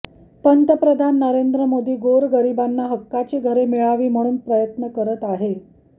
पंतप्रधान नरेंद्र मोदी गोरगरीबांना हक्काची घरे मिळावी म्हणून प्रयत्न करत आहे